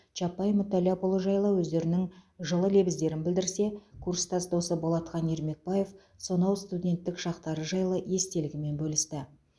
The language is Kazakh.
чапай мүтәлләпұлы жайлы өздерінің жылы лебіздерін білдірсе курстас досы болатхан ермекбаев сонау студенттік шақтары жайлы естелігімен бөлісті